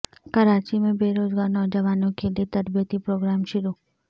کراچی میں بے روزگار نوجوانوں کیلئے تربیتی پروگرام شروع